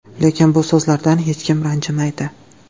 Lekin bu so‘zlardan hech kim ranjimaydi.